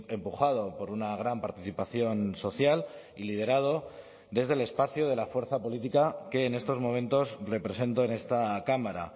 empujado por una gran participación social y liderado desde el espacio de la fuerza política que en estos momentos represento en esta cámara